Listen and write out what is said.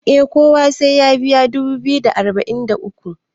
eh kowa sai ya biya dubu biyu da arba'in da uku